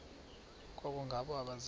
koko ngabo abaza